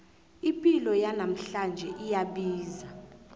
ipilo yanamhlanje iyabiza